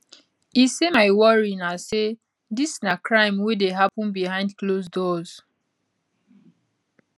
e say my worry na say dis na crime wey dey happun behind close doors